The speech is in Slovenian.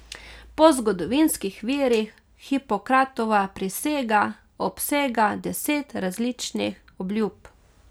Po zgodovinskih virih Hipokratova prisega obsega deset različnih obljub.